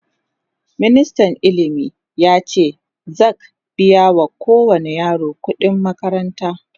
ministan ilimi yace za'q biya wa kowani yaro ƙuɗi n makaranta